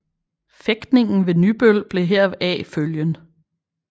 Fægtningen ved Nybøl blev heraf følgen